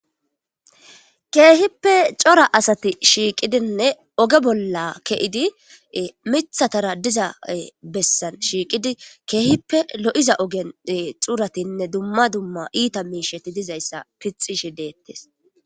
keehippe cora asati shiiqidinne oge bolla ke7idi mithatara diza bessan shiiqidi keehippe lo7iza ogen xuuratinne dumma dumma iita miisheti dizayssa pixishi deettes